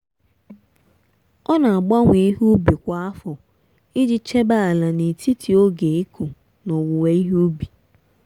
ọ na-agbanwe ihe ubi kwa afọ iji chebe ala n'etiti oge ịkụ na owuwe ihe ubi.